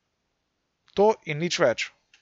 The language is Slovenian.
To in nič več.